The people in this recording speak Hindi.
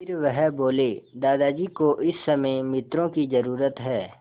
फिर वह बोले दादाजी को इस समय मित्रों की ज़रूरत है